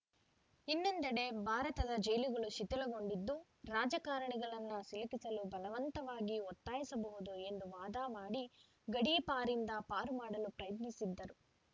ಇನ್ನೊಂದೆಡೆ ಭಾರತದ ಜೈಲುಗಳು ಶಿಥಲಗೊಂಡಿದ್ದು ರಾಜಕಾರಣಿಗಳನ್ನು ಸಿಲುಕಿಸಲು ಬಲವಂತವಾಗಿ ಒತ್ತಾಯಿಸಬಹುದು ಎಂದು ವಾದ ಮಾಡಿ ಗಡೀಪಾರಿಂದ ಪಾರು ಮಾಡಲು ಪ್ರಯತ್ನಸಿದ್ದರು